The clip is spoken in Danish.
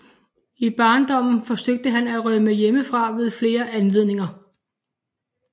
I barndommen forsøgte han at rømme hjemmefra ved flere anledninger